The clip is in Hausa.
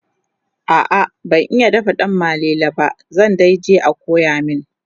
a'a ban iya dafa danmalele ba zan daije a koya min